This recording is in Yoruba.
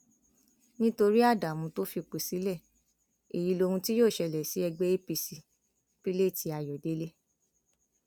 nítorí ádámù tó fipò sílẹ èyí lohun tí yóò ṣẹlẹ sí ẹgbẹ apc pilate ayọdẹ